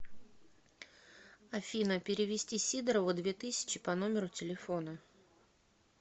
афина перевести сидорову две тысячи по номеру телефона